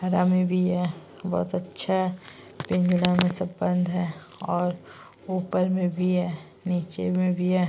हरा में भी है बहोत अच्छा है पिजड़ा में सब बंद है और ऊपर में भी है नीचे में भी है।